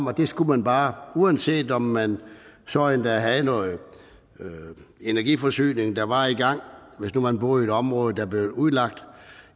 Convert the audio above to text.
at det skulle man bare uanset om man så endda havde noget energiforsyning der var i gang hvis nu man boede i et område der blev udlagt